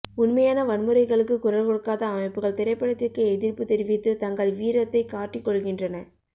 உண்மையான வன்முறைகளுக்கு குரல் கொடுக்காத அமைப்புகள் திரைப்படத்திற்கு எதிர்ப்புத் தெரிவித்து தங்கள் வீரத்தைக் காட்டிக்கொள்கின்றன